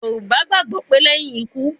Yoruba gbagbo pe leyin iku